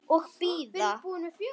Og bíða.